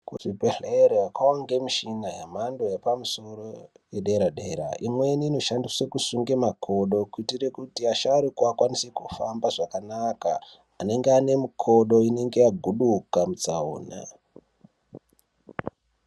Kuzvibhedhlera kwangomichhina yemhando yepamusoro yedera-dera, imweni inoshandiswe kusunge makodo, kuitire kuti asharuka akwanise kufamba zvakanaka, anenge ane mikodo inenge yaguduka mutsaona.